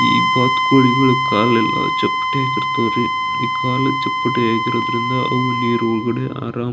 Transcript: ಈ ಬಾತುಕೋಳಿಗಳ ಕಾಲೆಲ್ಲ ಚಪ್ಪಟೆ ಆಗಿರ್ತಾವ್ರಿ ಈ ಕಾಲು ಚಪ್ಪಟೆ ಆಗಿರೋದ್ರಿಂದ ಅವು ನೀರು ಒಳಗಡೆ ಆರಾಮಾ--